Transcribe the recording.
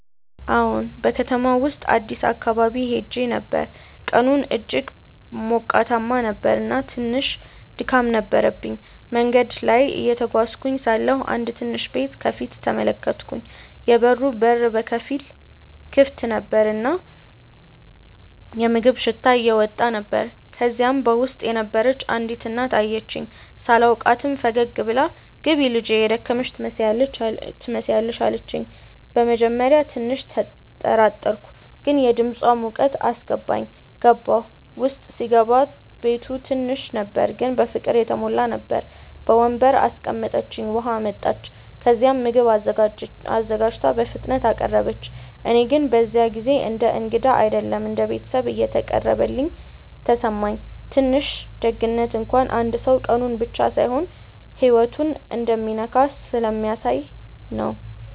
አዎን፣ በከተማው ውስጥ አዲስ አካባቢ ሄዼ ነበር፣ ቀኑም እጅግ ሞቃት ነበር እና ትንሽ ድካም ነበረብኝ። መንገድ ላይ እየተጓዝኩ ሳለሁ አንድ ትንሽ ቤት ከፊት ተመለከትኩ፤ የበሩ በር በከፊል ክፍት ነበር እና የምግብ ሽታ እየወጣ ነበር። ከዚያ በውስጥ የነበረች አንዲት እናት አየችኝ። ሳላውቃትም ፈገግ ብላ “ግቢ ልጄ፣ የደከመሽ ትመስያለሽ” አለችኝ። በመጀመሪያ ትንሽ ተጠራጠርኩ፣ ግን የድምፃ ሙቀት አስገባኝ። ገባሁ። ውስጥ ሲገባ ቤቱ ትንሽ ነበር ግን በፍቅር የተሞላ ነበር። በወንበር አስቀምጠችኝ፣ ውሃ አመጣች፣ ከዚያም ምግብ አዘጋጅታ በፍጥነት አቀረበች። እኔ ግን በዚያ ጊዜ እንደ እንግዳ አይደለም እንደ ቤተሰብ እንደተቀበለችኝ ተሰማኝ። ትንሽ ደግነት እንኳን አንድ ሰው ቀኑን ብቻ ሳይሆን ህይወቱን እንደሚነካ ስለሚያሳየ ነው